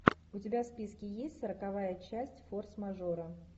у тебя в списке есть сороковая часть форс мажоры